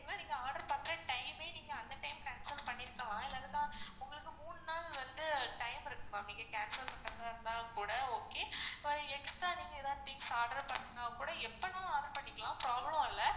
நீங்க order பண்ற time ஏ நீங்க அந்த time cancel பண்ணிருக்கலாம் இல்லனா உங்களுக்கு மூணு நாள் வந்து time இருக்கு ma'am நீங்க cancel பண்றதா இருந்தா கூட okay இப்போ extra நீங்க எதாவது things order பண்ணா கூட எப்ப வேணாலும் order பண்ணிக்கலாம் problem இல்ல